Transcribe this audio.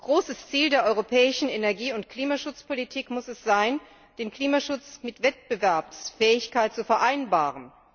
Großes Ziel der europäischen Energie und Klimaschutzpolitik muss es sein, den Klimaschutz mit Wettbewerbsfähigkeit zu vereinbaren.